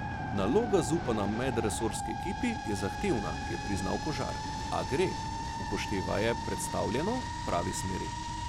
Naloga, zaupana medresorski ekipi, je zahtevna, je priznal Kožar, a gre, upoštevaje predstavljeno, v pravi smeri.